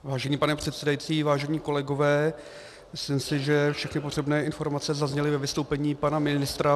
Vážený pane předsedající, vážení kolegové, myslím si, že všechny potřebné informace zazněly ve vystoupení pana ministra.